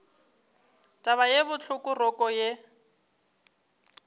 taba ye bohloko roko ye